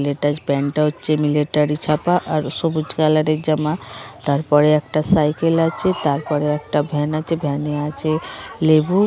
প্যান্টটা হচ্ছে মিলিটারি ছাপা আর সবুজ কালারের জামা তারপরে একটা সাইকেল আছে তারপরে একটা ভ্যান আছে ভ্যানে আছে লেবু ।